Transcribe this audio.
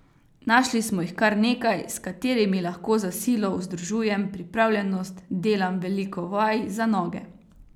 Našli smo jih kar nekaj, s katerimi lahko za silo vzdržujem pripravljenost, delam veliko vaj za noge.